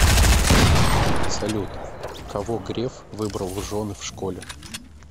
салют кого греф выбрал в жены в школе